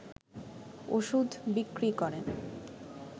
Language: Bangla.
ওষুধ বিক্রি করেন